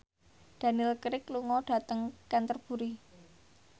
Daniel Craig lunga dhateng Canterbury